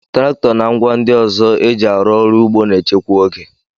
Traktọ na ngwá ndị ọzọ eji arụ ugbo na-echekwa oge.